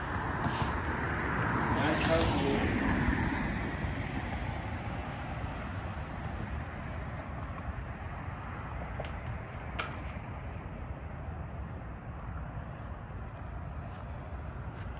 nyatshavhungwa